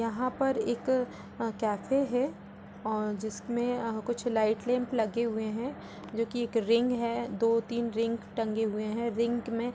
यहाँ पर एक अ केफे है और जिसमे कुछ लाईट लैम्प लगे हुए है। जो की एक रिंग है दो तीन रिंग टंगे हुए है रिंग में --